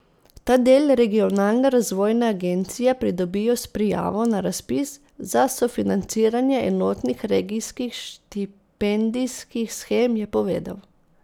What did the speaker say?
Ta del regionalne razvojne agencije pridobijo s prijavo na razpis za sofinanciranje enotnih regijskih štipendijskih shem, je povedal.